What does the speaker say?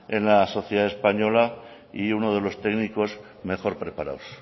en la sociedad española y uno de los técnicos mejor preparados